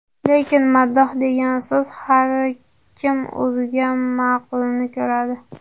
Lekin, ‘maddoh’ degan so‘z, har kim o‘ziga ma’qulini ko‘radi.